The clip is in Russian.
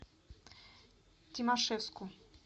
тимашевску